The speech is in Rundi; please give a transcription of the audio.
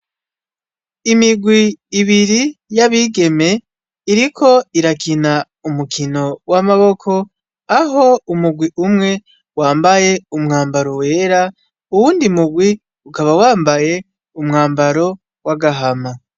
Imirwi ibiri y'abigeme iriko irakina umukino w'amaboko, aho umugwi umwe wambaye umwambaro wera, uwundi murwi ukaba wambaye umwambaro w'agahama.